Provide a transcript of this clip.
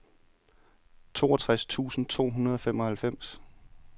toogtres tusind to hundrede og femoghalvfems